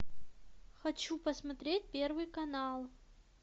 хочу посмотреть первый канал